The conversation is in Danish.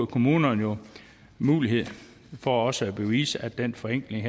kommunerne jo mulighed for også at bevise at den forenkling